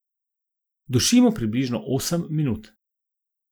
Dušimo približno osem minut.